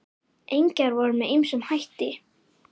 Engjar voru með ýmsum hætti.